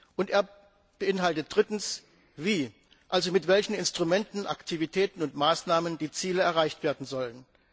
Und er beinhaltet drittens, wie also mit welchen Instrumenten, Aktivitäten und Maßnahmen die Ziele erreicht werden sollen.